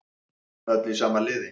Öll í sama liði